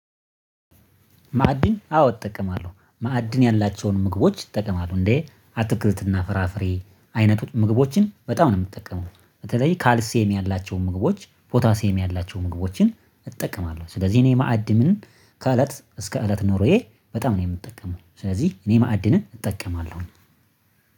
ማዕድን አዎ እጠቀማለሁ ማዕድን ያላቸውን ምግቦች ይጠቀማሉ እንዴ? አትክልትና ፍራፍሬ አይነት ምግቦችን በጣም ነው የምትጠቀመው። በተለይ ካልሴም ያላቸው ምግቦች ፓታሴም ያላቸው ምግቦችን እጠቀማለሁ። ስለዚህ እኔ ማዕድንን ከእለት እስከ እለት ኖሮዬ በጣም ነው የምጠቀመው። ስለዚህ እኔ ማዕድንን እጠቀማለሁ